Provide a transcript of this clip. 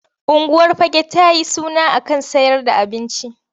Unguwar Fagge ta yi suna a kan sayer da abinci.